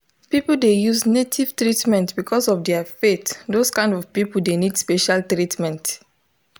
people dey use native treatment because of their faith those kind people dey need special treatment.